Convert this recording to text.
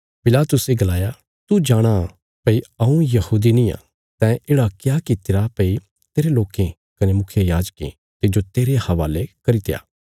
पिलातुसे गलाया तू जाणां भई हऊँ यहूदी नींआ तैं येढ़ा क्या कित्तिरा भई तेरे लोकें कने मुखियायाजकें तिज्जो मेरे हवाले करित्या